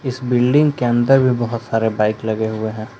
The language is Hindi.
इस बिल्डिंग के अंदर भी बहुत सारे बाइक लगे हुए हैं।